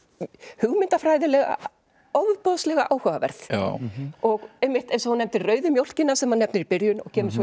hugmyndafræðilega ofboðslega áhugaverð og einmitt eins og þú nefndir rauðu mjólkina sem hann nefnir í byrjun og kemur í